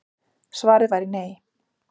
Svarið væri nei